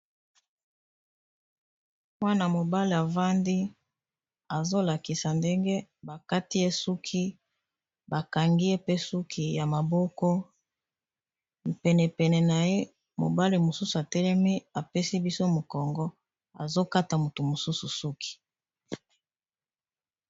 Mwana mobale avandi azolakisa ndenge bakati esuki bakangi ye pe suki ya maboko pene pene na ye ,mobali mosusu atelemi apesi biso mokongo azokata motu mosusu suki.